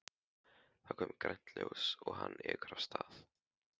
Það er komið grænt ljós og hann ekur af stað.